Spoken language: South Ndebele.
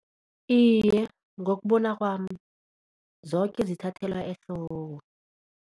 Iye, ngokubona kwami zoke zithathelwa ehloko.